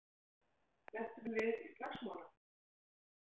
Lentum við í slagsmálum?